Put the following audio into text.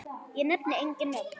Ég nefni engin nöfn.